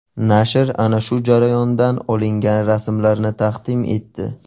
Nashr ana shu jarayondan olingan rasmlarni taqdim etdi.